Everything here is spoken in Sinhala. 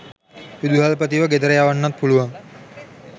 විදුහල්පතිව ගෙදර යවන්නත් පුළුවන්.